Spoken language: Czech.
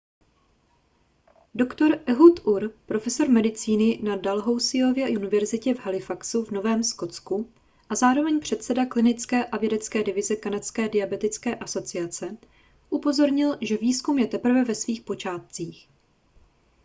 dr ehud ur profesor medicíny na dalhousieově univerzitě v halifaxu v novém skotsku a zároveň předseda klinické a vědecké divize kanadské diabetické asociace upozornil že výzkum je teprve ve svých počátcích